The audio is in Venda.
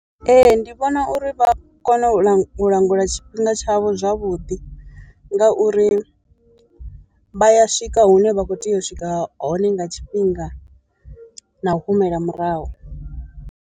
Ee ndi vhona uri vha kone u langa u langula tshifhinga tshavho zwavhuḓi, ngauri vha ya swika hune vha kho tea u swika hone nga tshifhinga na u humela murahu.